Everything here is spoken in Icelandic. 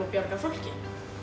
að bjarga fólki